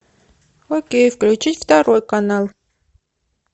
окей включить второй канал